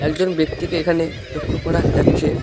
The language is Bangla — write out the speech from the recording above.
একজন ব্যক্তিকে এখানে লক্ষ্য করা যাচ্ছে।